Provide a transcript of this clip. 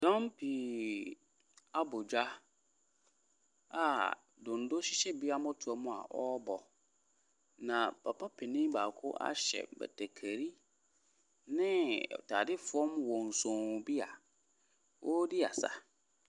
Dɔm pii abɔ dwa a donno hyehyɛ bi amɔtoɔm a wɔrebɔ. Na papa panin baako ahyɛ batakari ne atadeɛ fam wonsonn bi a ɔredi asa.